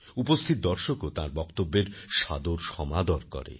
উপস্থিত দর্শকও তাঁর বক্তব্যের সাদর সমাদর করেন